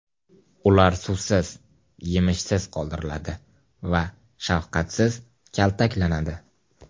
Ular suvsiz, yemishsiz qoldiriladi va shafqatsiz kaltaklanadi.